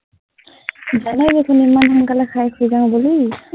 জানই দেখোন ইমান সোনকালে খাই শুই যাওঁ বুলি,